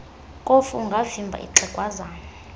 kofu ungavimba ixhegwazana